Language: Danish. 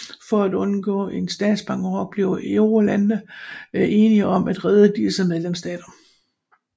For at undgå en statsbankerot blev eurolandene enige om at redde disse medlemsstater